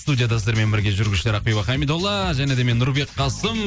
студияда сіздермен бірге жүргізушілер ақбибі хамидолла және де мен нұрбек қасым